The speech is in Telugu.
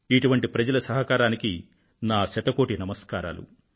ఇటువంటి ప్రజల సహకారానికి నా శతకోటి నమస్కారాలు